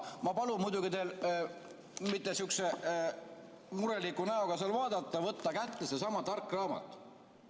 Ma palun muidugi teil mitte sihukese mureliku näoga vaadata, vaid võtta kätte seesama tark raamat.